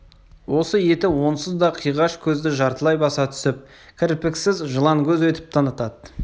осы еті онсыз да қиғаш көзді жартылай баса түсіп кірпіксіз жыланкөз етіп танытады